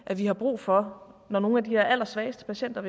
vi har brug for når nogle af de allersvageste patienter